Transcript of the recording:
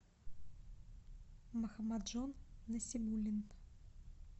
махамаджон насибуллин